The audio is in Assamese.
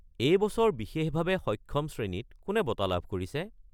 এই বছৰ বিশেষভাৱে সক্ষম শ্ৰেণীত কোনে বঁটা লাভ কৰিছে?